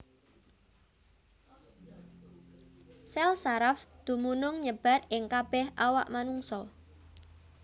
Sèl saraf dumunung nyebar ing kabèh awak manungsa